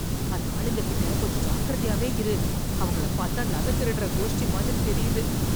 அந்த ஆளுங்க கிட்ட கொஞ்சம் ஜாக்கிரதையாவே இரு. அவங்கள பார்த்தா நகை திருடுற கோஷ்டி மாதிரி தெரியுது.